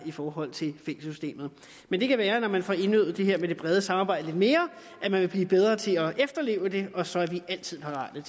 i forhold til fængselssystemet men det kan være at man når man får indøvet det her med det brede samarbejde lidt mere vil blive bedre til at efterleve det og så er vi altid parate